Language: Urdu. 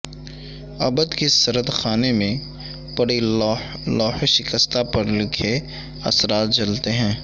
ابد کے سرد خانے میں پڑی لوح شکستہ پر لکھے اسرار جلتے ہیں